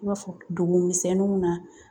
I b'a fɔ dugumisɛnninw na